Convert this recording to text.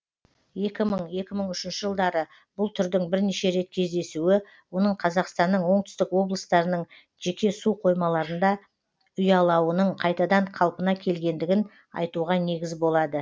екі мың екі мың үшінші жылдары бұл түрдің бірнеше рет кездесуі оның қазақстанның оңтүстік облыстарының жеке суқоймаларында ұялауының қайтадан қалпына келгендігін айтуға негіз болады